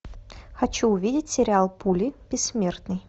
хочу увидеть сериал пули бессмертный